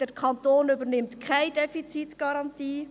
Der Kanton übernimmt keine Defizitgarantie.